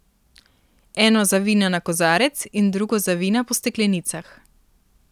Eno za vina na kozarec in drugo za vina po steklenicah.